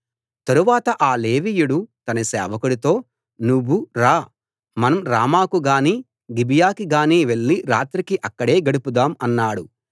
తరువాత ఆ లేవీయుడు తన సేవకుడితో నువ్వు రా మనం రామాకు గానీ గిబియాకి గానీ వెళ్లి రాత్రికి అక్కడే గడుపుదాం అన్నాడు